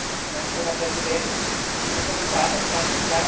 Herr Präsident, Herr Kommissar, meine Damen und Herren!